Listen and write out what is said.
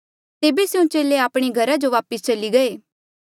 तेबे स्यों चेले आपणे घरा जो वापस चली गये